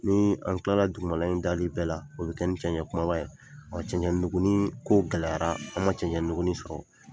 Ni an tilara jukɔrɔla in dali bɛɛ la o bɛ kɛ ni cɛnɲɛ kumaba ye o cɛnɲɛmuguninko gɛlɛyara an ma ɛnɲɛmugunin ka sɔrɔ.